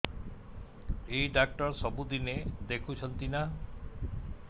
ଏଇ ଡ଼ାକ୍ତର ସବୁଦିନେ ଦେଖୁଛନ୍ତି ନା